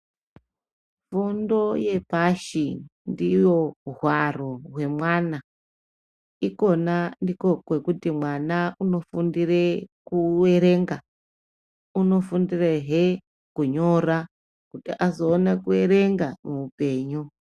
Fundo yepashi ndiyo hwaro hwemwana. Ikona ndikwo kwekuti mwana unofundire kuerenga. unofundirehe kunyora kuti azowone kuerenga muupenyu.